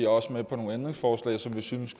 også med på nogle ændringsforslag som vi synes